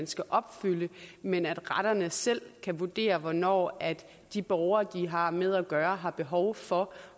skal opfylde men at retterne selv kan vurdere hvornår de borgere de har med at gøre har behov for